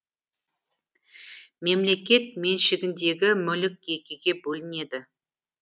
мемлекет меншігіндегі мүлік екіге бөлінеді